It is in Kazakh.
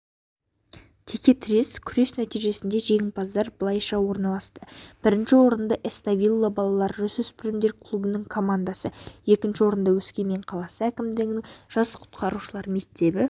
текетірес күрес нәтижесінде жеңімпаздар былайша орналасты бірінші орынды эставелла балалар-жасөспірімдер клубының командасы екінші орынды өскемен қаласы әкімдігінің жас құтқарушылар мектебі